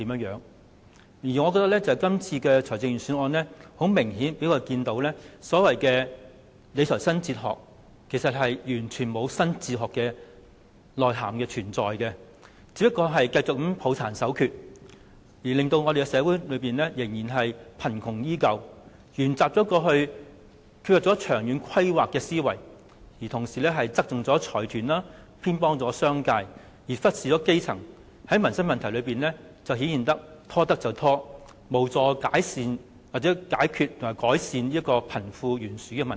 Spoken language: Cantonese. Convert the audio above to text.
從今次的財政預算案，我們清楚看到所謂的理財新哲學，完全欠缺新的內涵，只是繼續抱殘守缺，讓社會貧窮依舊，又沿襲過去缺乏長遠規劃的思維，繼續側重財團，偏袒商界，忽視基層，在民生問題上"拖得便拖"，無助解決和改善貧富懸殊的問題。